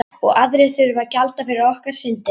Og aðrir þurfa að gjalda fyrir okkar syndir.